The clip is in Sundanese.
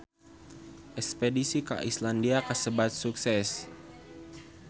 Espedisi ka Islandia kasebat sukses